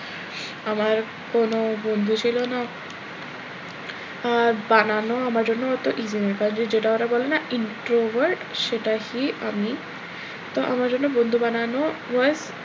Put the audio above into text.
আমার কোনো বন্ধু ছিল না আহ বানানো আমার জন্য অত যেটা ওরা বলে না introvert সেটাহি আমি তো আমার জন্য বন্ধু বানানো,